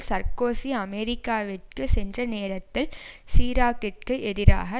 Sarkozy அமெரிக்காவிற்கு சென்ற நேரத்தில் சிராக்கிற்கு எதிராக